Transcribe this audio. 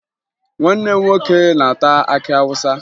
Nwanne m nwoke na-ata akị Awụsa